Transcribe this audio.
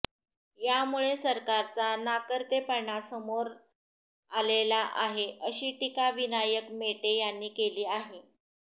यामुळे सरकारचा नाकर्तेपणा समोर आलेला आहे अशी टीका विनायक मेटे यांनी केली आहे